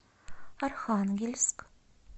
архангельск